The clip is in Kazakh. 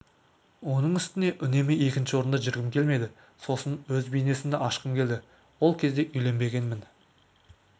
оның үстіне үнемі екінші орында жүргім келмеді сосын өз бизнесімді ашқым келді ол кезде үйленбегенмін